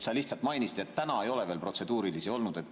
Sa mainisid, et täna ei ole veel protseduurilisi olnud.